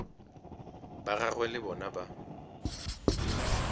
ba gagwe le bona ba